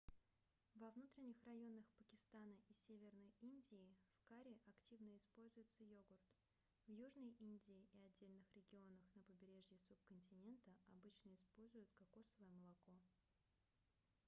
во внутренних районах пакистана и северной индии в карри активно используется йогурт в южной индии и отдельных регионах на побережье субконтинента обычно используют кокосовое молоко